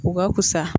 U ka wusa